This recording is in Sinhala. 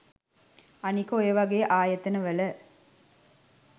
අනික ඔය වගේ ආයතනවල